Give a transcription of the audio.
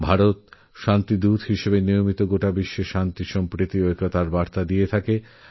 ভারত সর্বদাই শান্তির দূত হিসেবেবিশ্বে শান্তি একতা আর সদ্ভাবনার বার্তা বয়ে নিয়ে যাচ্ছে